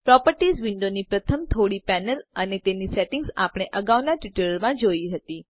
properties વિન્ડોનની પ્રથમ થોડી પેનલ અને તેની સેટિંગ આપણે અગાઉના ટ્યુટોરીયલમાં જોયી હતી